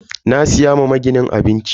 Na siya ma maginin abinci.